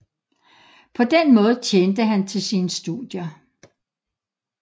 På den måde tjente han til sine studier